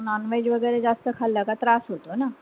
Nonveg वगैरे जास्त खाल्लं का त्रास होतो ना.